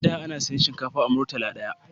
A da ana siyan shinkafa a murtala daya